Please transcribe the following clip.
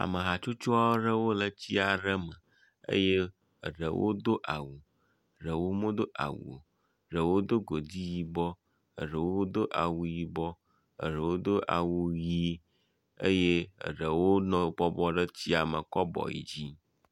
ame hatso aɖewo le tsi aɖe eye eɖewo do awu eɖeo medo awu o. eɖewo do godi yibɔ eɖewo do awu yibɔ eɖewo do awu ʋi eye eɖewo nɔ bɔbɔ ɖe etsia me kɔ abɔ yi dzi.